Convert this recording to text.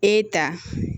E ta